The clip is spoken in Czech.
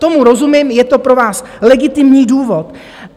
Tomu rozumím, je to pro vás legitimní důvod.